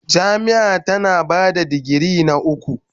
Jami'a tana ba da digiri na uku.